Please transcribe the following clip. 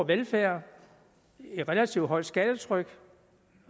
velfærd et relativt højt skattetryk